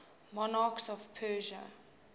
monarchs of persia